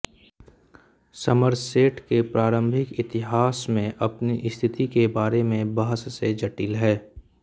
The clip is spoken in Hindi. समरसेट के प्रारंभिक इतिहास में अपनी स्थिति के बारे में बहस से जटिल है